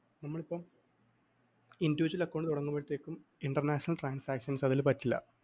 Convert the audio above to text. നമ്മളിപ്പം individual account തുടങ്ങുമ്പഴത്തേക്കും international transactions അതില്‍ പറ്റില്ല.